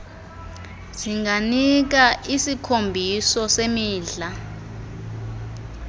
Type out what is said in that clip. zinganika isikhombiso semidla